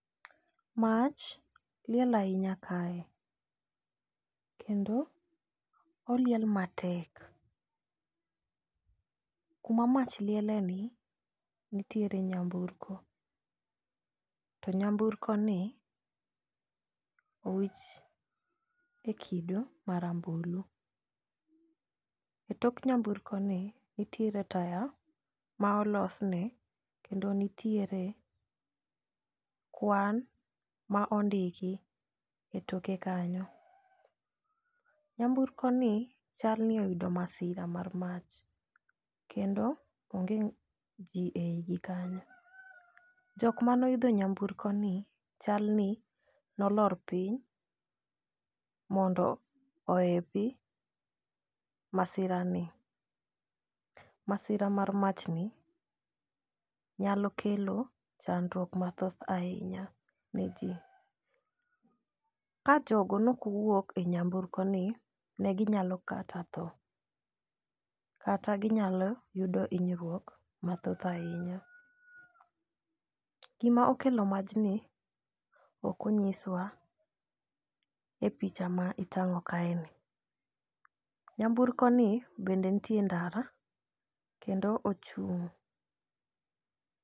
Mach liel ahinya kae kendo oliel matek . Kuma mach liele ni nitiere nyamburko to nyamburko ni owich e kido marambulu. E tok nyamburko ni nitiere taya ma olosne kendo nitiere kwan ma ondiki e toke kanyo. Nyamburko ni chal ni oyudo masira ma mach kendo onge ng'a jii e iye kanyo. Jok manoidho nyamburko ni chal ni nolor piny mondo ohepi masira ni. Masira mar mach ni nyalo kelo chandruok mathoth ahinya ne jii. Ka jogo nok owuok e nyamburko ni ne ginyalo kata tho kata ginyalo yudo hinyruok mathoth ahinya. Gima okelo majni ok onyiswa e picha ma itang'o kae ni. Nyamburko ni bende nitie e ndara kendo ochung'.